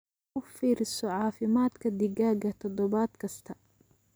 U fiirso caafimaadka digaagga toddobaad kasta.